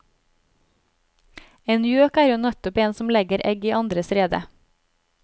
En gjøk er jo nettopp en som legger egg i andres rede.